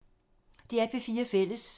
DR P4 Fælles